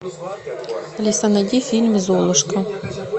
алиса найди фильм золушка